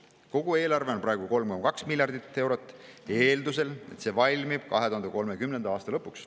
Kogu eelarve on praegu 3,2 miljardit eurot, eeldusel, et see valmib 2030. aasta lõpuks.